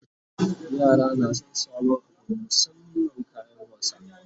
yara na San sabon Abu musamman kayan wasa